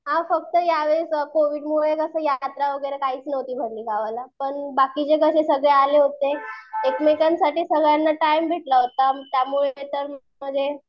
हां फक्त यावेळेस कोविडमुळे कसं यात्रा वगैरे काहीच नव्हती भरली गावाला पण बाकीचे कसे सगळे आले होते. एकमेकांसाठी सगळ्यांना टाईम भेटला होता. त्यामुळे